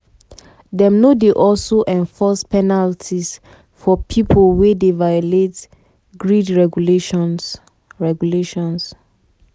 dem no dey also enforce penalties for pipo wey dey violate grid regulations. regulations.